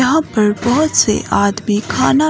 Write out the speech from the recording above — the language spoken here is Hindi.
यहां पर बहुत से आदमी खाना--